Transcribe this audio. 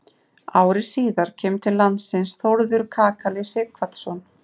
Ári síðar kemur til landsins Þórður kakali Sighvatsson.